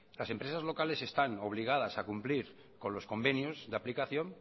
las empresas locales están obligadas a cumplir con los convenios de aplicación